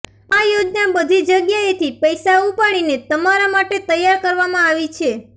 આ યોજના બધી જગ્યાએથી પૈસા ઉપાડીને તમારા માટે તૈયાર કરવામાં આવી છે